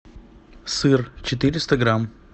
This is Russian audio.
сыр четыреста грамм